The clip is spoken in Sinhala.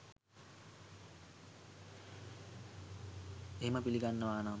එහෙම පිළිගන්නවනම්